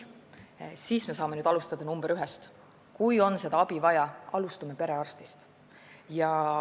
Me alustame nr 1-st: kui on abi vaja, siis alustame perearstist.